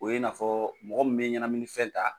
O ye i n'a fɔ mɔgɔ bɛ ɲɛgaminifɛn ta